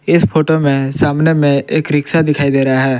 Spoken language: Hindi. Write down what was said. इस फोटो में सामने में एक रिक्शा दिखाई दे रहा है।